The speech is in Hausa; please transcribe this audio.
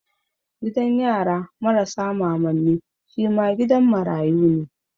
Gidan yara marasa mamanni shi ma gidan marayu ne.